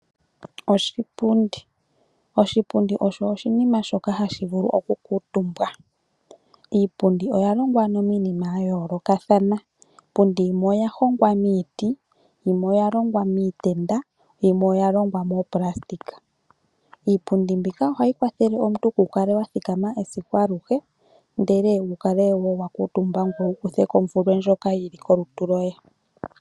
Oshipundi osho oshinima shoka hashi vulu okukuutumbwa. Iipundi oya longwa miinima ya yoolokathana. Iipundi yimwe oya hongwa miiti, yimwe oya longwa miitenda, yimwe oya longwa moopulastika. Iipundi mbika ohayi kwathele omuntu kuu kale wa thikama esiku alihe, ndele wu kale wo wa kuutumba ngoye wu kuthe ko omvulwe ndjoka yi li kolutu lwoye.